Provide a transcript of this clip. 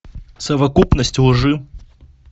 совокупность лжи